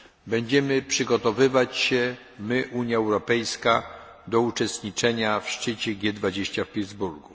Będziemy przygotowywać się, my Unia Europejska, do uczestniczenia w szczycie G 20 w Pittsburgu.